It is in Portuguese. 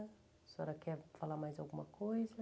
A senhora quer falar mais alguma coisa?